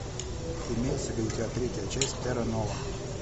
имеется ли у тебя третья часть терра нова